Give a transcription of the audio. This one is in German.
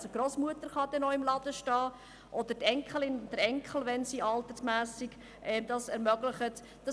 So darf die Grossmutter oder der Enkel oder die Enkelin, wenn es vom Alter her möglich ist, im Laden stehen.